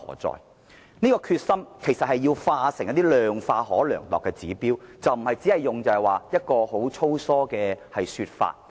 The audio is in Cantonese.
政府應將其決心量化成可量度的指標，而不是只提出一個粗疏的說法。